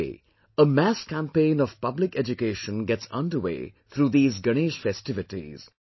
In a way, a mass campaign of public education gets underway through these Ganesh festivities